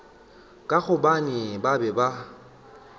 ka gobane ba be ba